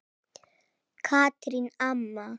Katrín amma.